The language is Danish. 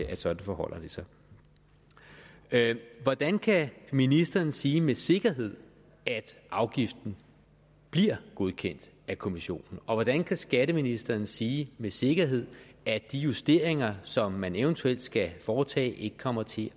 at sådan forholder det sig hvordan kan ministeren sige med sikkerhed at afgiften bliver godkendt af kommissionen og hvordan kan skatteministeren sige med sikkerhed at de justeringer som man eventuelt skal foretage ikke kommer til